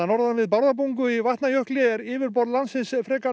norðan við Bárðarbungu í Vatnajökli er yfirborð landsins frekar